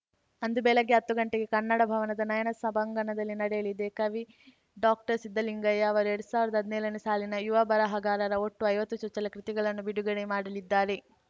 ಅಂದು ಬೆಳಗ್ಗೆ ಹತ್ತು ಗಂಟೆಗೆ ಕನ್ನಡ ಭವನದ ನಯನ ಸಭಾಂಗಣದಲ್ಲಿ ನಡೆಯಲಿದೆ ಕವಿ ಡಾಕ್ಟರ್ಸಿದ್ದಲಿಂಗಯ್ಯ ಅವರು ಎರಡ್ ಸಾವಿರದ ಹದ್ನೇಳನೇ ಸಾಲಿನ ಯುವ ಬರಹಗಾರರ ಒಟ್ಟು ಐವತ್ತು ಚೊಚ್ಚಲ ಕೃತಿಗಳನ್ನು ಬಿಡುಗಡೆ ಮಾಡಲಿದ್ದಾರೆ